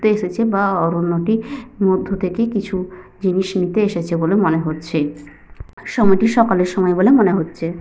ঘুরতে এসেছে বা অরণ্যটির মধ্য় থেকে কিছু জিনিস নিতে এসেছে বলে মনে হচ্ছে। সময়টি সকালের সময় বলে মনে হচ্ছে।